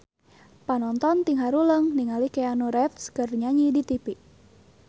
Panonton ting haruleng ningali Keanu Reeves keur nyanyi di tipi